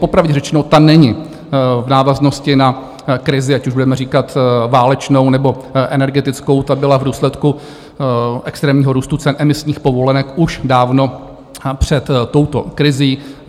Popravdě řečeno, tam není v návaznosti na krizi, ať už budeme říkat válečnou, nebo energetickou, ta byla v důsledku extrémního růstu cen emisních povolenek už dávno před touto krizí.